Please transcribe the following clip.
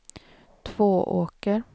Tvååker